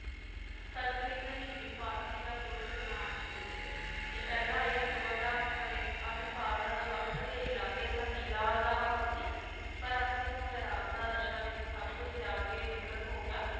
ਸੰਸਕ੍ਰਿਤ, ਹਿੰਦੀ, ਫਾਰਸੀ ਦਾ ਪੂਰਨ ਵਿਦਵਾਨ ਸੀ ਇਹ ਤੇ ਪਹਿਲਾਂ ਇਹ ਅਕਬਰ ਦਾ ਲੇਖ~ ਅਹਿਲਕਾਰ ਅਵਧ ਦੇ ਇਲਾਕੇ ਸੰਧੀਲਾ ਦਾ ਹਾਕਮ ਸੀ ਪਰ ਅੰਤ ਨੂੰ ਵੈਰਾਗ ਦਾ ਦਸ਼ਾ ਵਿਚ ਸਬ ਕੁੱਝ ਤਿਆਗ ਕੇ ਵਿਕ੍ਰਤ ਹੋ ਗਿਆ,